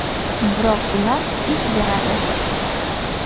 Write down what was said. Biroq ular ish beradi.